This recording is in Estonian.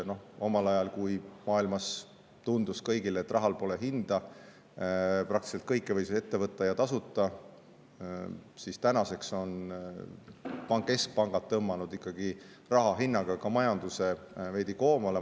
Kui omal ajal tundus maailmas kõigile, et rahal pole hinda ning võis praktiliselt ette võtta kõike ja tasuta, siis tänaseks on keskpangad tõmmanud ikkagi raha hinna kaudu ka majandust veidi koomale.